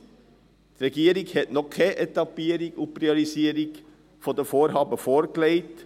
Die Regierung hat noch keine Etappierung und Priorisierung der Vorhaben vorgelegt.